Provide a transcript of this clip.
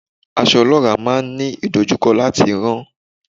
Aṣọ olora máa ń ní ìdojúkọ láti rán.